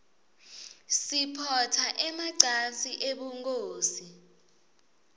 siphotsa emacansi ebunkhosi